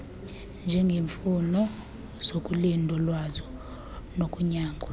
njengeemfuno zokulindolozwa nokunyangwa